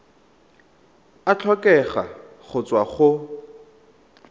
a tlhokega go tswa go